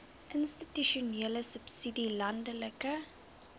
institusionele subsidie landelike